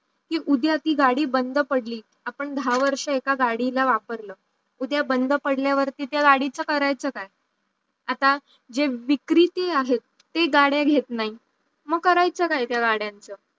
उद्या ती गाड़ी बंद पडली आपण दहा वर्ष एका गाड़ीला वापरलं, उद्या बंद पडल्या वरती त्या गाड़ीचा करायचा काय? आता जे विक्रिती आहेत ते गाड्या घेत नाही माग कराच्या काय ते गाड़ी यांच